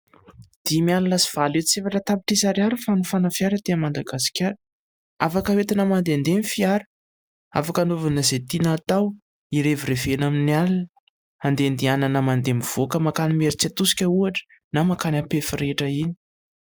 Dimy alina sy valo hetsy sy efatra tapitrisa ariary ny fanofana fiara aty Madagasikara. Afaka hoentina mandehandeha ny fiara. Afaka hanaovana izay tiana atao : hirevirevena amin'ny alina, handehandehanana mandeha mivoaka mankany Imeritsiatosika ohatra na mankany Ampefy rehetra iny.